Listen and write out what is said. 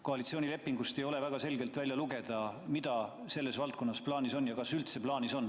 Koalitsioonilepingust ei saa väga selgelt välja lugeda, mida selles valdkonnas plaanis on ja kas üldse midagi plaanis on.